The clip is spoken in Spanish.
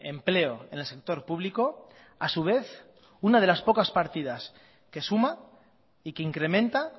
empleo en el sector público a su vez una de las pocas partidas que suma y que incrementa